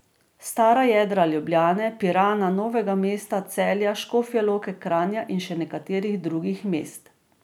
Stara jedra Ljubljane, Pirana, Novega mesta, Celja, Škofje Loke, Kranja in še nekaterih drugih mest.